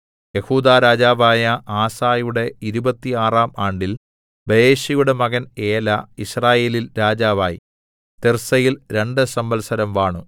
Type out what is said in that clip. യെഹൂദാ രാജാവായ ആസയുടെ ഇരുപത്താറാം ആണ്ടിൽ ബയെശയുടെ മകൻ ഏലാ യിസ്രായേലിൽ രാജാവായി തിർസ്സയിൽ രണ്ട് സംവത്സരം വാണു